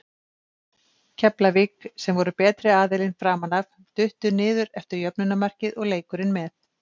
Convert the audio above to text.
Keflavík, sem voru betri aðilinn framan af, duttu niður eftir jöfnunarmarkið og leikurinn með.